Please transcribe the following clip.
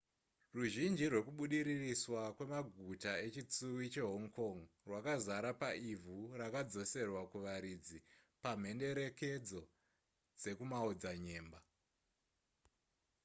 ruzhinji rwekubudiririswa kwemaguta echitsuwi chehong kong rwakazara paivhu rakadzoserwa kuvaridzi pamhenderekedzo dzekumaodzanyemba